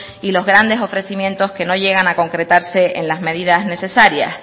y los grandes ofrecimientos que no llegan a concretarse en las medidas necesarias